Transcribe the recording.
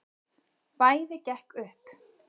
Bæði gekk upp.